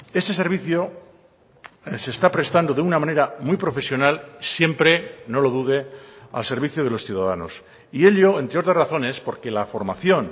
ese servicio se está prestando de una manera muy profesional siempre no lo dude al servicio de los ciudadanos y ello entre otras razones porque la formación